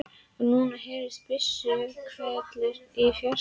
Og nú heyrðust byssuhvellir í fjarska.